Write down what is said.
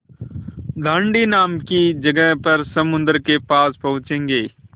दाँडी नाम की जगह पर समुद्र के पास पहुँचेंगे